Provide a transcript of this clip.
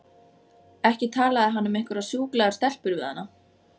Ekki talaði hann um einhverjar sjúklegar stelpur við hana!